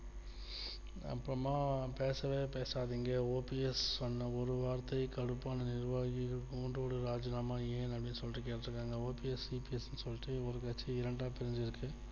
அப்புறமா பேசவே பேசாதீங்க OPS சொன்ன ஒரு வார்த்தை கடுப்பான நிர்வாகிகள் கூண்டோடு ராஜினாமா ஏன் அப்டின்னு சொல்லிட்டு கேட்டு இருக்காங்க OPSEPS னு சொல்லிட்டு ஒரு கட்சி இரண்டாக பிரிஞ்சி இருக்கு